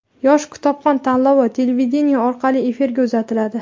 "Yosh kitobxon" tanlovi televideniye orqali efirga uzatiladi!.